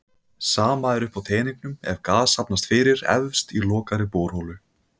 Sama er uppi á teningnum ef gas safnast fyrir efst í lokaðri borholu.